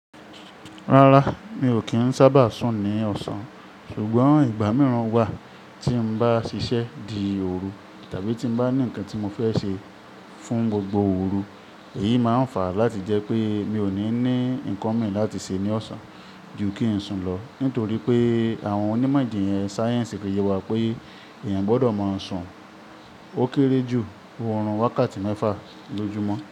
Rárá mi ò kí ń sábà sùn ní ọ̀sán, ṣùgbọ́n ìgbà mìíràn wà tí mo bá ṣiṣẹ́ di òru tàbí tí mo bá ní ǹkan tí mo fẹ́ ṣe fún gbogbo òru, èyí máa ń fà láti jẹ́ pé mi ò ní ní nǹkan mìíràn láti ṣe ní ọ̀sán ju kí n sùn lọ nítorí pé àwọn onímọ̀ ìjìnlẹ̀ sáyẹ́ǹsì fi ye wá pé èèyàn gbọ́dọ̀ máa sùn ó kéré jù ọ̀rùn wákàtí mẹ́fà lójúmọ́